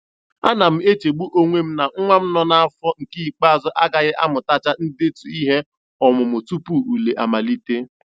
Ana m echegbu onwe m na nwa m nọ n'afọ nke ikpeazụ agaghị amutacha ndetu ihe ọmụmụ tupu ule amalite.